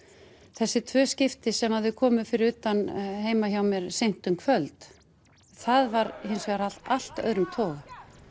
þessi tvö skipti sem þau komu fyrir utan heima hjá mér seint um kvöld það var hins vegar af allt öðrum toga